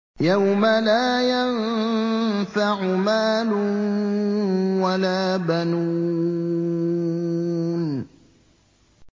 يَوْمَ لَا يَنفَعُ مَالٌ وَلَا بَنُونَ